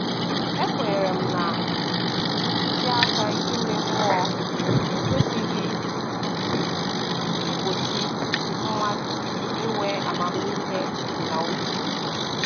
E kwenyere m na ntụziaka ime mmụọ ekwesịghị i gbochi mmadụ inwe amamihe na uche